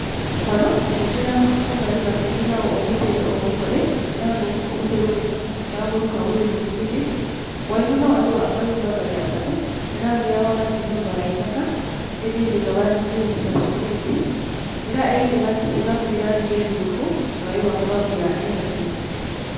Ghanho kungila kumbali batundhagho obutebe obukole elanga obutebe bunho babuluka buluke mu miti, ghinuma ghaligho amayumba gali asatu ela nga eyaghati nhumba yaitaka edhindhi nga badhizimbisa seminti ela eyindhi bagisigaku elangi emyufu nga yo bakoba ati ya airtel.